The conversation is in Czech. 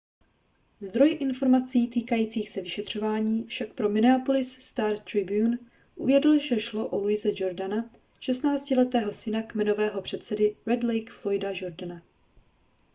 zdroj informací týkajících se vyšetřování však pro minneapolis star-tribune uvedl že šlo o louise jourdaina šestnáctiletého syna kmenového předsedy red lake floyda jourdaina